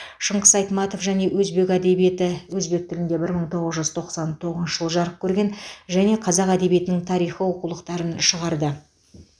шыңғыс айтматов және өзбек әдебиеті өзбек тілінде бір мың тоғыз жүз тоқсан тоғызыншы жылы жарық көрген және қазақ әдебиетінің тарихы оқулықтарын шығарды